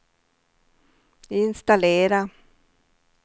installera